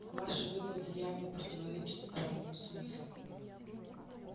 ваши выводы явно противоречат здравому смыслу